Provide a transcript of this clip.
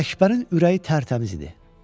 Ələkbərin ürəyi tərtəmiz idi.